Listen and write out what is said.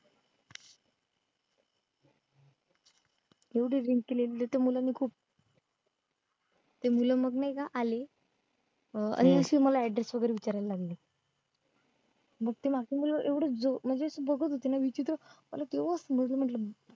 एवढी drink केलीली त्या मुलांनी खूप ते मुलं मग नाय का आले अं आणि मग मला address वैगरे विचारायला लागले मग ती last ची मुलं एवढी बघत होती ना विचित्र अरे देवा मरूदे म्हंटलं